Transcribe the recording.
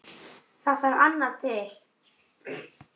Það þarf annað til.